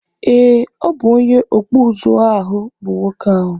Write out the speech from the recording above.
Ee, obụ onye ọkpụ ụzụ ahụ bụ nwoke a